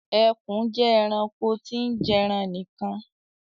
Ekùn je eranko tí n jeran nìkan